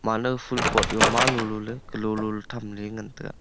anow foul pot ma low low ley alow alow ley tham ley nguntai ga.